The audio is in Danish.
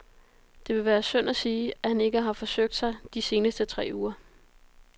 Det vil være synd at sige, at han ikke har forsøgt sig de seneste tre uger.